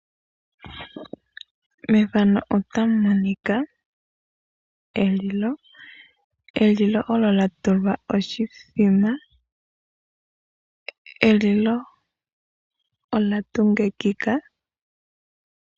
Efano ota li ulike elilo. Elilo ndjono lya tulwa oshimbombo. Elilo olya tungikika.